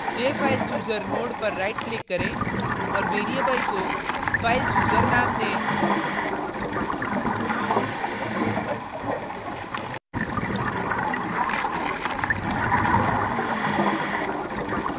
jfilechooser node पर right click करें औऱ variable को filechooser नाम दें